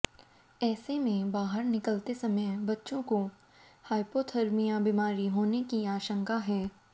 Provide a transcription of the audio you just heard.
ऐसे में बाहर निकलते समय बच्चों को हाइपोथर्मिया बीमारी होने की आशंका है